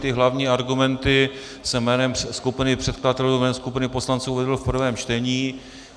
Ty hlavní argumenty jsem jménem skupiny předkladatelů, jménem skupiny poslanců, uvedl v prvém čtení.